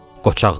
Qoçaqdır.